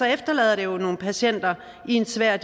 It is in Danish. efterlader det jo nogle patienter i en svær